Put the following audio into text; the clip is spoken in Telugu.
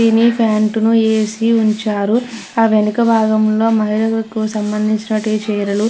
ఇవి ఫ్యాంటును ఎసి వుంచారు ఆ వెనుక భాగంలో మహిళలకు సంబంధించినటి చీరలు --